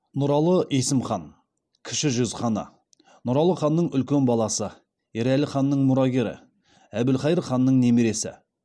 нұралыұлы есім хан кіші жүз ханы нұралы ханның үлкен баласы ерәлі ханның мұрагері әбілқайыр ханның немересі